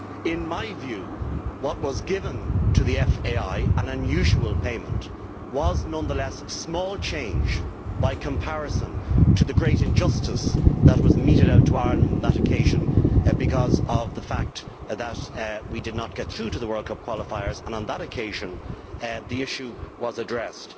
In my view, what was given to the FAI an unusual payment was nonetheless small change by comparison to the great injustice that was meted out to Ireland on that occasion, because of the fact that we did not get through to the World Cup qualifiers. On that occasion the issue was addressed.